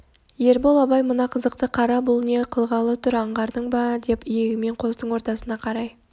ербол абай мына қызықты қара бұл не қылғалы тұр аңғардың ба деп иегімен қостың ортасына қарай